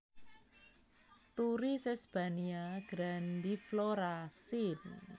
Turi Sesbania grandiflora syn